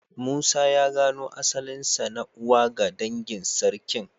Musa ya gano asalinsa na uwa ga dangin Sarkin.